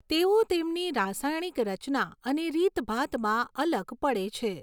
તેઓ તેમની રાસાયણિક રચના અને રીતભાતમાં અલગ પડે છે.